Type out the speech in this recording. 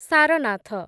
Sarnath